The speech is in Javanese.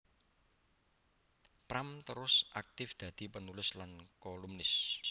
Pram terus aktif dadi penulis lan kolumnis